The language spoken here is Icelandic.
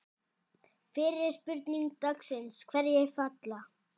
Fyrri spurning dagsins: Hverjir falla?